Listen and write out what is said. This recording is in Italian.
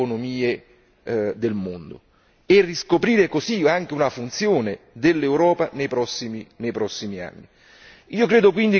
di confronto con le altre economie del mondo e riscoprire così anche una funzione dell'Europa nei